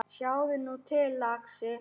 Sjáðu nú til, lagsi.